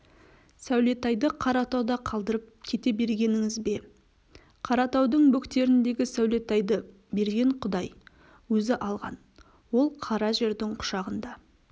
сәулетайды қаратауда қалдырып кете бергеніңіз бе қаратаудың бөктеріндегі сәулетайды берген құдай өзі алған ол қара жердің құшағында